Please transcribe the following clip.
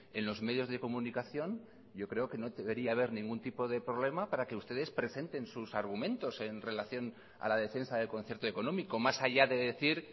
en los medios de comunicación yo creo que no debería haber ningún tipo de problema para que ustedes presenten sus argumentos en relación a la defensa del concierto económico más allá de decir